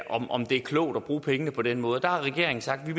om om det er klogt at bruge pengene på den måde der har regeringen sagt at vi